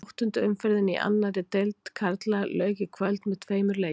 Áttundu umferðinni í annarri deild karla lauk í kvöld með tveimur leikjum.